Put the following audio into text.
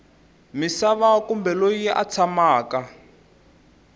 misava kumbe loyi a tshamaka